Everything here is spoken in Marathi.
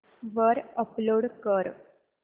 वर अपलोड कर